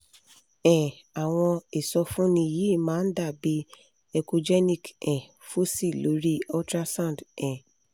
um àwọn ìsọfúnni yìí máa ń dà bí echogenic um foci lori ultrasound um